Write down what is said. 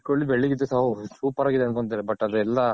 ಬೆಳ್ಳಗ್ ಇದ್ರೆ ಸಾಕ್ Super ಆಗಿದೆ ಅನ್ಕೊಂತಾರೆ but ಅದೆಲ್ಲ.